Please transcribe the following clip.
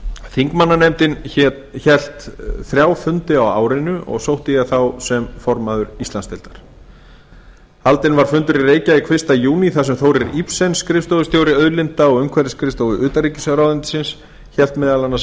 þingmannanefndin hélt þrjá fundi á árinu og sótti ég þá sem formaður íslandsdeildar haldinn var fundur í reykjavík fyrsta júní þar sem þórir ibsen skrifstofustjóri auðlinda og umhverfisskrifstofu utanríkisráðuneytisins hélt meðal annars